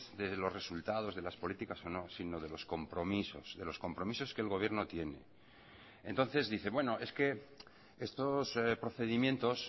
de los resultados de las políticas o no sino de los compromisos de los compromisos que el gobierno tiene entonces dice bueno es que estos procedimientos